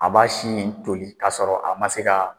A b'a si in toli ka sɔrɔ a ma se ka